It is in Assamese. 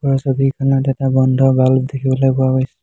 ওপৰৰ ছবিখনত এটা বন্ধ বাল্ব দেখিবলৈ পোৱা গৈছে।